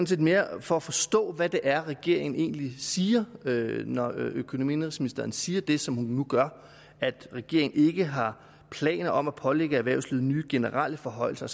set mere for at forstå hvad det er regeringen egentlig siger når økonomi og indenrigsministeren siger det som hun nu gør altså at regeringen ikke har planer om at pålægge erhvervslivet nye generelle forhøjelser